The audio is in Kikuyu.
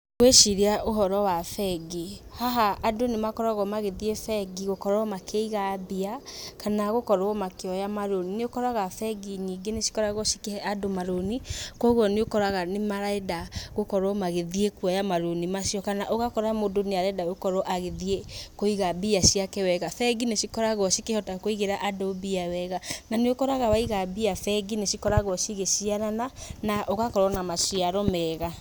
Ngwĩciria ũhoro wa bengi, haha andũ nĩ makoragwo magĩthiĩ bengi gũkorwo makĩiga mbia kana gũkorwo makĩoya marũni. Nĩ ũkoraga bengi nyingĩ nĩcikoragwo cikĩhe andũ marũni koguo nĩ ũkoraga nĩ marenda gũkorwo magĩthiĩ kuoya marũni macio kana ũgakora mũndũ nĩ arenda gũkorwo agĩthiĩ kũiga mbia ciake wega. Bengi nĩcikoragwo cikĩhota kũigĩra andũ mbia wega na nĩ ũkoraga waiga mbia bengi nĩcikoragwo cigĩciarana na ũgakorwo na maciaro mega.